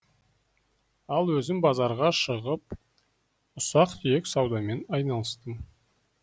ал өзім базарға шығып ұсақ түйек саудамен айналыстым